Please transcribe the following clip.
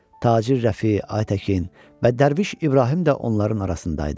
Tacir Rəfi, Ay Təkin və Dərviş İbrahim də onların arasında idi.